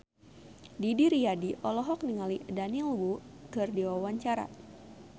Didi Riyadi olohok ningali Daniel Wu keur diwawancara